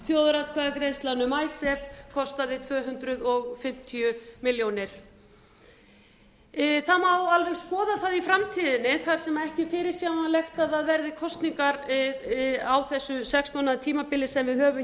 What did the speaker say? þjóðaratkvæðagreiðslan um icesave tvö hundruð fimmtíu milljónir króna það má alveg skoða það í framtíðinni þar sem ekki er fyrirsjáanlegt að það verði kosningar á þessu sex mánaða tímabili sem við höfum